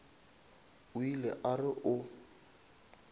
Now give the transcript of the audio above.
o ile a re o